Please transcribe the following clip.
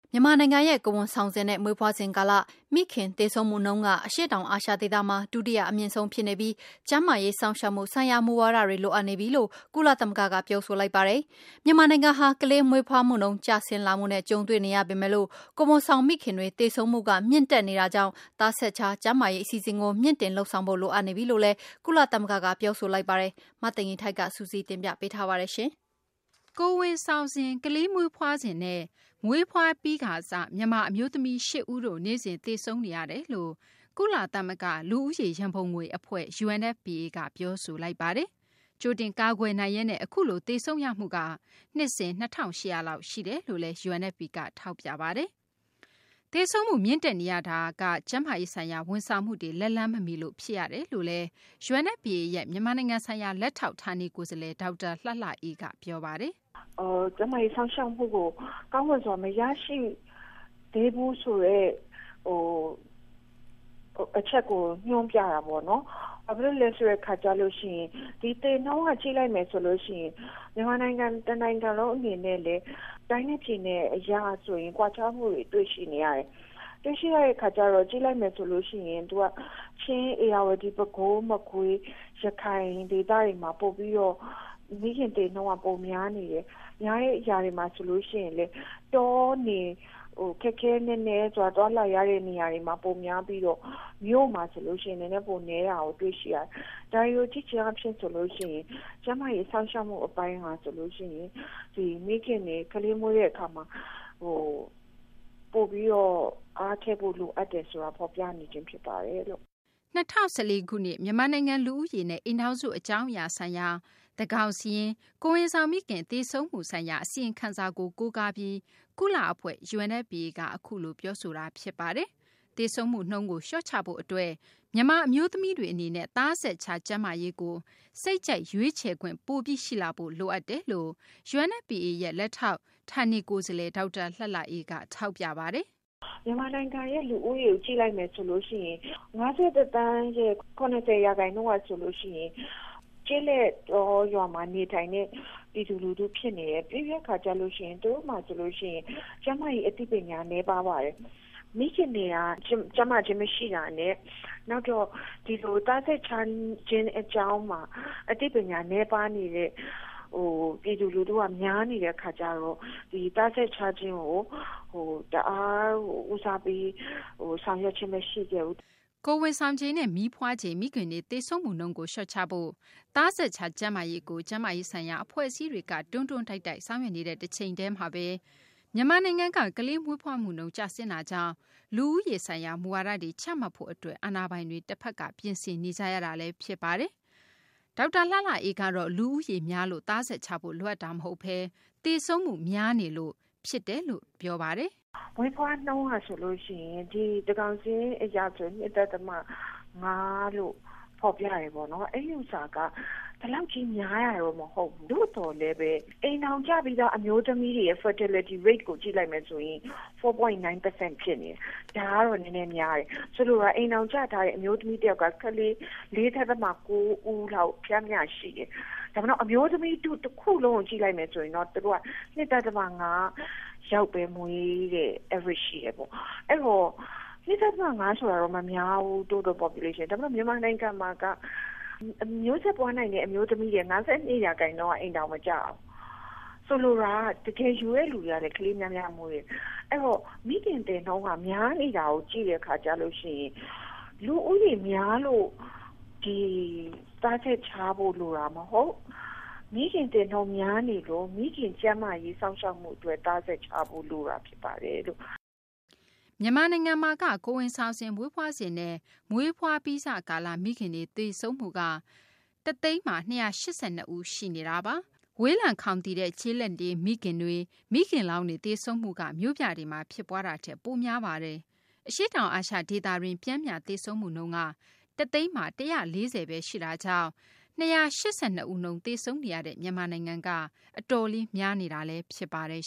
မြန်မာနိုင်ငံရဲ့ ကိုယ်ဝန်ဆောင်စဉ်နဲ့ မွေးဖွားစဉ် ကာလ မိခင် သေဆုံးမှုနှုန်းက အရှေ့တောင် အာရှ ဒေသမှာ ဒုတိယ အမြင့်ဆုံး ဖြစ်နေပြီး ကျန်းမာရေး စောင့်ရှောက်မှု ဆိုင်ရာ မူဝါဒတွေ လိုအပ်နေပြီလို့ ကုလ သမဂ္ဂက ပြောဆိုလိုက်ပါတယ်။ မြန်မာနိုင်ငံဟာ ကလေးမွေးဖွားနှုန်း ကျဆင်းလာမှုနဲ့ ကြုံတွေ့နေရပေမယ့် ကိုယ်ဝန်ဆောင် မိခင်တွေ သေဆုံးမှုက မြင့်တက်နေတာကြောင့် သားဆက်ခြား ကျန်းမာရေး အစီအစဉ်ကို မြှင့်တင်လုပ်ဆောင်ဖို့ လိုအပ်နေပြီလို့လည်း ကုလသမဂ္ဂက ပြောဆိုလိုက်ပါတယ်။ မသိင်္ဂ ီထိုက် စုစည်းတင်ပြပေးမှာပါ။ ကိုယ်ဝန်ဆောင်စဉ်၊ ကလေးမွေးဖွားစဉ်နဲ့ မွေးဖွားပြီးစ မြန်မာ အမျိုးသမီး ၈ ဦးတို့ နေ့စဉ် သေဆုံးနေရတယ်လို့ ကုလ သမဂ္ဂ လူဦးရေ ရန်ပုံငွေ အဖွဲ့ UNFPA က ပြောဆိုလိုက်ပါတယ်။ ကြိုတင် ကာကွယ်နိုင်ရက်နဲ့ အခုလို သေဆုံးနေရမှုက နှစ်စဉ် ၂၈၀၀ လောက် ရှိတယ်လို့လည်း UNFPA က ထောက်ပြပါတယ်။ သေဆုံးမှု မြင့်တက်နေရတာ ကျန်းမာရေးဆိုင်ရာ ဝန်ဆောင်မှုတွေ လက်လှမ်းမမီရလို့ ဖြစ်တယ်လို့ UNFPA ရဲ့ မြန်မာနိုင်ငံဆိုင်ရာ လက်ထောက် ဌာနေ ကိုယ်စားလှယ် ဒေါက်တာ လှလှအေးက အခုလို ပြောပါတယ်။ “ကျန်းမာရေးစောင့်ရှောက်မှုကို ကောင်းမွန်စွာမရရှိသေးဘူးဆိုတဲ့ အချက်ကို ညွှန်းပြတာပေါ့နော်။ ဘာဖြစ်လို့လဲဆိုတော့ ဒီသေနှုန်းက ကြည့်လိုက်မယ်ဆိုရင် မြန်မာနိုင်ငံ တနိုင်ငံလုံးအနေနဲ့လည်း တိုင်းနဲ့ပြည်နယ်အရဆိုရင် ကွာခြားမှုတွေကိုတွေ့ရှိနေရတယ်။ တွေ့ရှိရတဲ့အခါကျတော့ကြည့်လိုက်မယ်ဆိုရင်လည်း ချင်း၊ ဧရာဝတီ ၊ ပဲခူး၊ မကွေး ၊ ရခိုင်ဒေသတွေမှာ ပိုပြီးတော့ မိခင်သေနှုန်းကပိုပြီးတော့ များနေတယ်။ ဒီလိုများတဲ့နေရာတွေမှာဆိုရင်လည်း တော၊ နယ် ခက်ခဲနက်နဲသွားလာရတဲ့နေရာတွေမှာ ပိုများပြီးတော့ မြို့မှာဆိုရင်တော့ နည်းနည်းပိုနည်းတာကို တွေ့ရှိရတယ်။ ဒါတွေကိုကြည့်ချင်းအားဖြင့် ကျန်းမာရေးစောင့်ရှောက်မှုအပိုင်းဟာ မိခင်တွေ ကလေးမွေးတဲ့အခါမှာ ပိုပြီးတော့ အားထည့်ဖို့လိုတယ်ဆိုတာ ဖော်ပြနေပါတယ်။” ၂၀၁၄ ခုနှစ် မြန်မာနိုင်ငံ လူဦးရေနှင့် အိမ်ထောင်စု အကြောင်းအရာ ဆိုင်ရာ သန်းခေါင်စာရင်း - ကိုယ်ဝန်ဆောင်မိခင် သေဆုံးမှုဆိုင်ရာ အစီရင်ခံစာကို ကိုးကားပြီး ကုလ အဖွဲ့ UNFPA က အခုလို ပြောဆိုတာ ဖြစ်ပါတယ်။ သေဆုံးမှု နှုန်းကို လျှော့ချဖို့ အတွက်မြန်မာ အမျိုးသမီးတွေ အနေနဲ့ သားဆက်ခြား ကျန်းမာရေးကို စိတ်ကြိုက် ရွေးချယ်ခွင့်ပိုပြီး ရှိလာဖို့ လိုအပ်တယ်လို့ UNFPA လက်ထောက် ဌာနေ ကိုယ်စားလှယ် ဒေါက်တာ လှလှအေးက ထောက်ပြပါတယ်။ “မြန်မာနိုင်ငံရဲ့လူဦးရေကို ကြည့်လိုက်မယ်ဆိုရင် ၅၁ သန်းရဲ့ ၇၀ ရာခိုင်နှုန်းဟာဆိုရင် ကျေးလက်တောရွာမှာနေထိုင်တဲ့ ပြည်သူလူထုဖြစ်နေတယ်။ ပြီးတဲ့အခါ သူတို့မှာ ကျန်းမာရေးအသိပညာနည်းပါးပါတယ်။ မိခင်တွေက ကျန်းမာခြင်းမရှိတာနဲ့ နောက်သားဆက်ခြားခြင်းအကြောင်းမှာ အသိပညာနည်းပါးနေတဲ့ ပြည်သူလူထုက များနေတဲ့အခါကျတော့ ဒီသားဆက်ခြားခြင်းကိုတအားကို ဦးစားပေးဆောင်ရွက်ခဲ့ခြင်းမရှိခဲ့ဘူး။” ကိုယ်ဝန်ဆောင်ချိန်နဲ့ မီးဖွားချိန် မိခင်တွေ သေဆုံးမှုနှုန်းကို လျှော့ချဖို့ သားဆက်ခြား ကျန်းမာရေးကို ကျန်းမာရေးဆိုင်ရာ အဖွဲ့အစည်းတွေက တွန်းတွန်းတိုက်တိုက် ဆောင်ရွက်နေတဲ့ တချိန်တည်းမှာဘဲ မြန်မာနိုင်ငံက ကလေးမွေးဖွားမှုနှုန်း ကျဆင်းတာကြောင့် လူဦးရေး ဆိုင်ရာ မူဝါဒတွေ ချမှတ်ဖို့ အတွက် အာဏာပိုင်တွေ ပြင်ဆင်နေကြရတာလည်း ဖြစ်ပါတယ်။ ဒေါက်တာ လှလှအေးကတော့ လူဦးရေများလို့ သားဆက်ခြားဖို့ လိုအပ်တာ မဟုတ်ဘဲ သေဆုံးမှု များနေလို့ ဖြစ်တယ်လို့ ထောက်ပြပါတယ်။ “မွေးဖွားနှုန်းကဆိုရင် သန်းခေါင်စာရင်းအရ ၂.၅ လို့ ဖော်ပြတယ်ပေါ့နော် အဲဒီဟာက ဒီလောက်များတာတော့မဟုတ်ဘူး။ သို့သော် အိမ်ထောင်ကျပြီးသားအမျိုးသမီးတွေ fatality rate ကိုကြည့်လိုက်ရင် ၄.၉ ရာခိုင်နှုန်းဖြစ်နေတယ်။ ဒါကတော့ နည်းနည်းများတယ်။ အိမ်ထောင်ကျထားတဲ့ အမျိုးသမီးတယောက်က ကလေး ၄.၉ ဦးလောက် ပျမ်းမျှရှိတယ်။ ဒါပေမယ့် အမျိုးသမီးထုတခုလုံးကို ကြည့်မယ်ဆိုရင် သူတို့က ၂.၅ ယောက်ပဲမွေးတဲ့ average ရှိတယ်ပေါ့။ ဆိုတော့ ၂.၅ ဆိုတာ မများဘူး Total Population မှာ။ ဒါပေမယ့် မြန်မာနိုင်ငံမှာက မျိုးဆက်ပွားနိုင်တဲ့အမျိုးသမီး ၅.၂ ရာခိုင်နှှုန်း က အိမ်ထောင်မကျဘူး။ ဆိုလိုတာက တကယ်ယူတဲ့လူတွေက ကလေးများများမွေးတယ်။ အဲဒီတော့ မိခင်သေနှုန်းက များနေတာကို ကြည့်မယ်ဆိုရင် လူဦးရေများလို့ သားဆက်ခြားဖို့လိုတာမဟုတ်၊ မိခင်သေနှုန်းက များနေလို့ မိခင်ကျန်းမာရေးစောင့်ရှောက်မှုအတွက် သားဆက်ခြားဖို့လိုတာဖြစ်ပါတယ်။” ကိုယ်ဝန်ဆောင်စဉ်၊ မွေးဖွားစဉ်နဲ့ မွေးဖွားပြီးစ ကာလ မိခင်တွေ သေဆုံးမှုနှုန်းက ၁ သိန်းမှာ ၂၈၂ ဦး ရှိနေတာပါ။ ဝေးလံခေါင်သီတဲ့ ကျေလက်နေ မိခင်တွေ မိခင်လောင်းတွေ သေဆုံးမှုက မြို့ပြမှာ ဖြစ်ပွားမှုထက် များပါတယ်။ အရှေ့တောင် အာရှ ဒေသတွင်း ပျမ်းမျှ သေဆုံးမှုနှုန်းက ၁ သိန်းမှာ ၁၄၀ ဘဲ ရှိတာကြောင့် ၂၈၂ ဦးနှုန်း သေဆုံးနေရတဲ့ မြန်မာနိုင်ငံက အတော်လေးများနေတာလည်း ဖြစ်ပါတယ်